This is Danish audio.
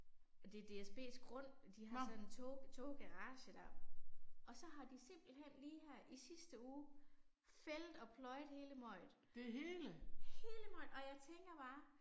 Og det er DSBs grund og de har sådan tog toggarage der. Og så har de simpelthen lige her i sidste uge fældet og pløjet hele møget. Hele møget og jeg tænker bare